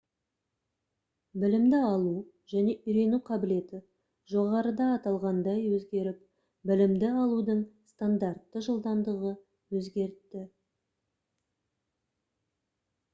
білімді алу және үйрену қабілеті жоғарыда аталғандай өзгеріп білімді алудың стандартты жылдамдығы өзгерді